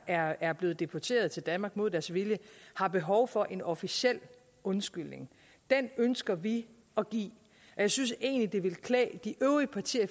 er er blevet deporteret til danmark mod deres vilje har behov for en officiel undskyldning den ønsker vi at give og jeg synes egentlig ville klæde de øvrige partier